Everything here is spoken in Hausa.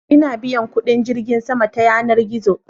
ina biyan kudin jirgin sama ta yanar gizo